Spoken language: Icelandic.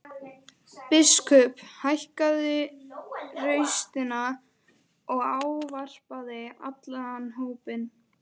Biskup hækkaði raustina og ávarpaði allan hópinn.